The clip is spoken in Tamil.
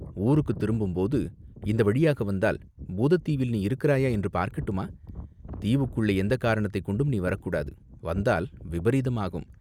"ஊருக்குத் திரும்பும்போது இந்த வழியாக வந்தால் பூதத் தீவில் நீ இருக்கிறாயா என்று பார்க்கட்டுமா?" "தீவுக்குள்ளே எந்தக் காரணத்தைக் கொண்டும் நீ வரக்கூடாது, வந்தால் விபரீதமாகும்.